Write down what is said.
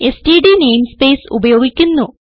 STD namespace ഉപയോഗിക്കുന്നു